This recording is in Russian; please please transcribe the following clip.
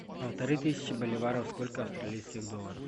полторы тысячи боливаров сколько австралийских долларов